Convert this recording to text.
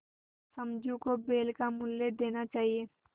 समझू को बैल का मूल्य देना चाहिए